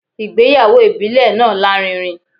Ìgbéyàwó ìbílẹ̀ náà lárinrin